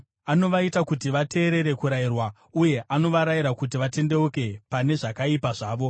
Anovaita kuti vateerere kurayirwa, uye anovarayira kuti vatendeuke pane zvakaipa zvavo.